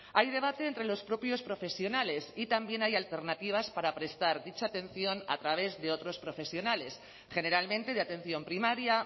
hay debate entre los propios profesionales y también hay alternativas para prestar dicha atención a través de otros profesionales generalmente de atención primaria